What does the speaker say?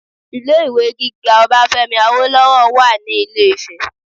Ilé ìwé gíga Obafemi Awolowo wà ní ilé ifẹ